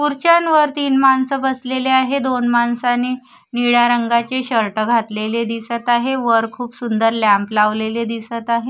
खुर्च्यांवर तीन माणसं बसलेली आहे दोन माणसाने निळ्या रंगाचे शर्ट घातलेले दिसत आहे वर खूप सुंदर लॅम्प लावलेले दिसत आहे.